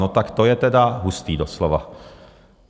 No tak to je tedy hustý doslova!